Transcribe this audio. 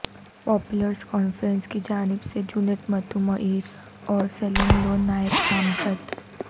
Peoples Conference کی جانب سے جنید متو مئیر اور سلیم لون نائب نامزد